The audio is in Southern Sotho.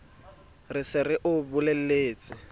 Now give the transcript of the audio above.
re se re o bolelletse